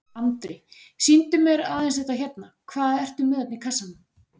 Andri: Sýndu mér aðeins þetta hérna, hvað ertu með þarna í kassanum?